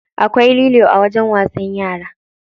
Akwai lilo a wajen wasan yara.